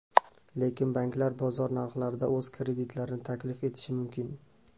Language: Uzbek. Lekin banklar bozor narxlarida o‘z kreditlarini taklif etishi mumkin.